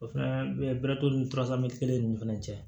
O fana bɛrɛ t'olu ni kelen ninnu fana cɛ